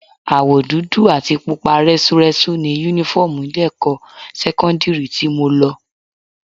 Àwọ̀ dúdú àti pupa rẹ́súrẹ́sú ni Únífọ́ọ̀mù ilé-ẹ̀kọ́ sẹ́kọ́ndírì tí mo lọ